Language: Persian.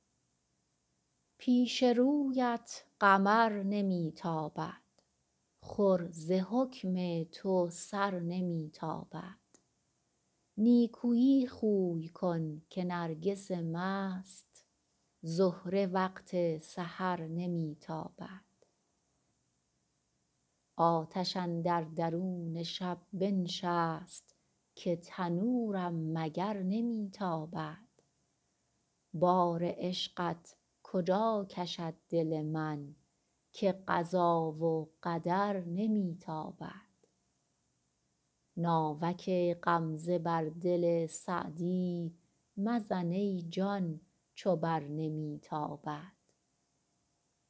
پیش رویت قمر نمی تابد خور ز حکم تو سر نمی تابد نیکویی خوی کن که نرگس مست بر تو با کین و شر نمی تابد دم غنیمت بدان زمان بشناس زهره وقت سحر نمی تابد آتش اندر درون شب بنشست که تنورم مگر نمی تابد بار عشقت کجا کشد دل من که قضا و قدر نمی تابد ناوک غمزه بر دل سعدی مزن ای جان چو بر نمی تابد